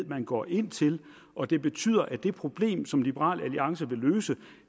man går ind til og det betyder at det problem som liberal alliance vil løse